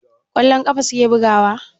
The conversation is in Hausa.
Kwallon ƙafa suke bugawa?